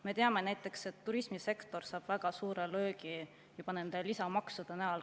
Me teame näiteks, et turismisektor saab väga suure löögi juba nende lisamaksude näol.